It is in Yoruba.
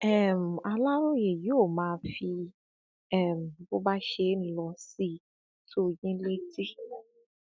um aláròyé yóò máa fi um bó bá ṣe ń lọ sí tó yín létí